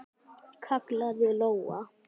kallaði Lóa.